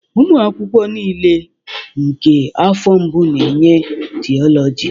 Ụmụ akwụkwọ niile nke afọ mbụ na-enye Theology